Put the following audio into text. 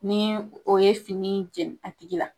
Ni o ye fini jɛn a tigi la